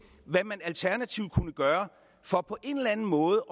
hvad man alternativt kunne gøre for på en eller anden måde